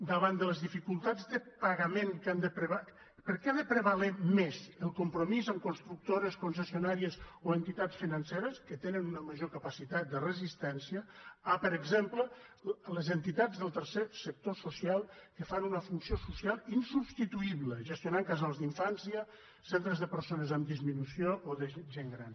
davant de les dificultats de pagament per què ha de prevaler més el compromís amb constructores concessionàries o entitats financeres que tenen una major capacitat de resistència que amb per exemple les entitats del tercer sector social que fan una funció social insubstituïble gestionar casals d’infància centres de persones amb disminució o de gent gran